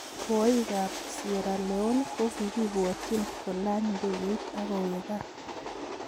Rwaik ab sierra Leone ko kikibwatyin kolany ndegeit ak koweg gaa.